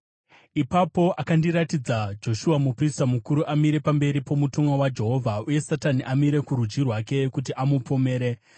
Ipapo akandiratidza Joshua muprista mukuru amire pamberi pomutumwa waJehovha, uye Satani amire kurudyi rwake kuti amupomere.